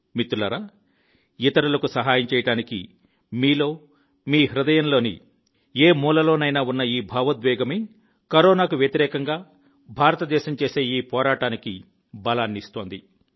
మిత్రులారా ఇతరులకు సహాయం చేయడానికి మీలో మీ హృదయం లోని ఏ మూలలోనైనా ఉన్న ఈ భావోద్వేగమే కరోనాకు వ్యతిరేకంగా భారతదేశం చేసే ఈ పోరాటానికి బలాన్ని ఇస్తోంది